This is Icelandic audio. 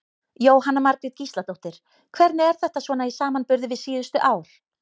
Jóhanna Margrét Gísladóttir: Hvernig er þetta svona í samanburði við síðustu ár?